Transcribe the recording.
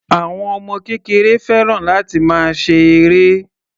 Àwọn ọmọ kékeré fẹ́ràn láti máa ṣe eré.